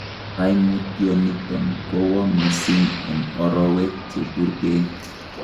Koimutioniton kowoo mising en orowek cheburkeen.